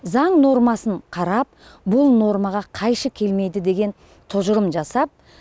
заң нормасын қарап бұл нормаға қайшы келмейді деген тұжырым жасап